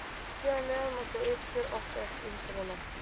Hér að neðan má sjá uppgjör okkar eftir umferðina.